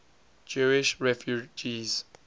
jewish refugees